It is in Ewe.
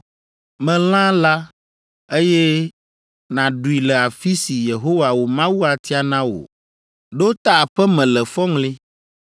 Me lã la, eye nàɖui le afi si Yehowa wò Mawu atia na wò. Ɖo ta aƒe me le fɔŋli.